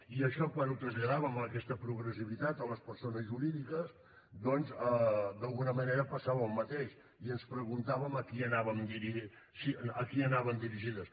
i això quan ho traslladàvem aquesta progressivitat a les persones jurídiques d’alguna manera passava el mateix i ens preguntàvem a qui anaven dirigides